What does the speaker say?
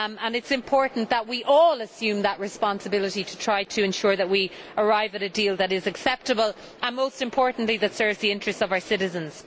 It is important that we all assume that responsibility to try to ensure that we arrive at a deal that is acceptable and, most importantly, that serves the interests of our citizens.